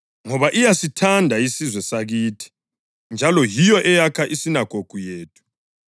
ngoba iyasithanda isizwe sakithi njalo yiyo eyakha isinagogu yethu.”